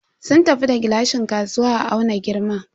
Sun tafi da gilashin kasuwa a auna girman.